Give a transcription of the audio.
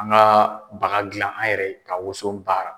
An ka baga gilan an yɛrɛ ye ka woson baara.